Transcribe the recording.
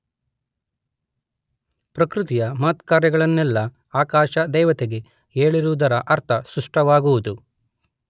ಪ್ರಕೃತಿಯ ಮಹತ್ಕಾರ್ಯಗಳನ್ನೆಲ್ಲ ಆಕಾಶ ದೇವತೆಗೆ ಹೇಳಿರುವುದರ ಅರ್ಥ ಸ್ಪಷ್ಟವಾಗುವುದು.